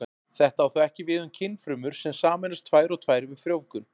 Þetta á þó ekki við um kynfrumur sem sameinast tvær og tvær við frjóvgun.